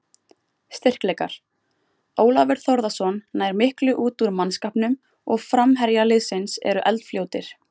Styrkleikar: Ólafur Þórðarson nær miklu út úr mannskapnum og framherjar liðsins eru eldfljótir.